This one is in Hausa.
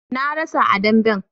Na rasa a damben